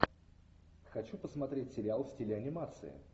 хочу посмотреть сериал в стиле анимации